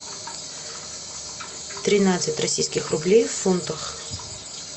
тринадцать российских рублей в фунтах